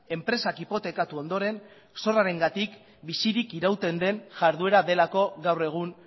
enpresak hipotekatu ondoren zorrarengatik bizirik irauten duen jarduera delako gaur egun